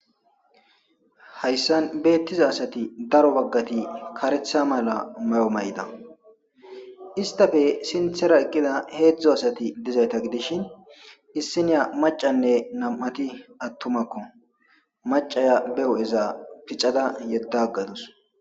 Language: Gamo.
Hayssan beettiza asati daro baggati karetha mala may7o may7ida istafe sinthera eqqida heedzdzo asati dizayta gidishin issiniya macanne nam7ati attumakko macaya beo7eza piccada yedda ggadus.